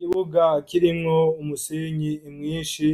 Ikibuga kirimwo umusinyi imwishi